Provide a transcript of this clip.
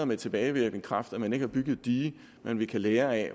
med tilbagevirkende kraft at man ikke har bygget et dige men vi kan lære af